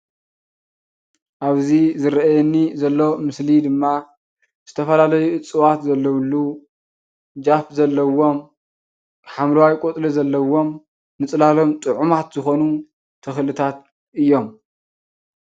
ኣብዚ ዝርአየኒ ዘሎ ምስሊ ድማ ዝተፈላለዩ እፅዋት ዘለዉሉ ጀፍ ዘለዎም፣ ሓምለዋይ ቆፅሊ ዘለዎም፣ ምፅላሎም ጥዑማት ዝኾኑ ተኽልታት እዮም፡፡